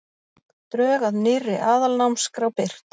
Drög að nýrri aðalnámskrá birt